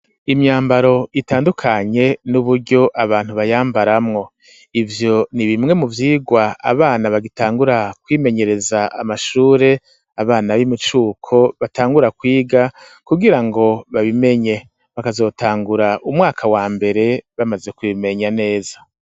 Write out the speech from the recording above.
Imyambaro itandukanye, n'uburyo abantu bayambaramwo, ivyo ni bimwe mu vyigwa abana bagitangura kwimenyereza amashure, abana b'imicuko batangura kwiga kugira ngo babimenye, bakazotangura umwaka wa mbere bamaze kubimenya neza.